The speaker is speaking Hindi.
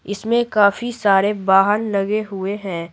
इसमें काफी सारे वाहन लगे हुए हैं।